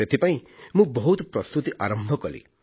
ସେଥିପାଇଁ ମୁଁ ବହୁତ ପ୍ରସ୍ତୁତି ଆରମ୍ଭ କଲି